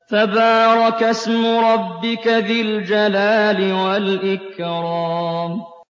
تَبَارَكَ اسْمُ رَبِّكَ ذِي الْجَلَالِ وَالْإِكْرَامِ